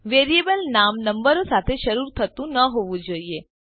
variable નામ નંબરો સાથે શરુ થતું ન હોવું જોઈએ